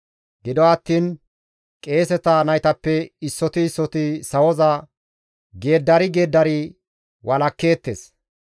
Gido attiin qeeseta naytappe issoti issoti sawoza geeddari geeddari walakkeettes.